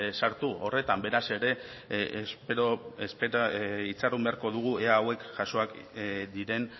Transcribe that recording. sartu horretan beraz itxaron beharko dugu ea hauek jasoak diren